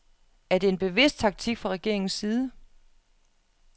Er det en bevidst taktik fra regeringens side?